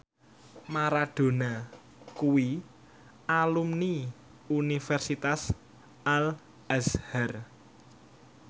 Maradona kuwi alumni Universitas Al Azhar